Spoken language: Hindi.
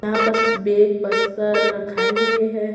यहां पस बेग बस्तल रखाये हुए हैं।